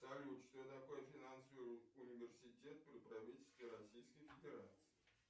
салют что такое финансовый университет при правительстве российской федерации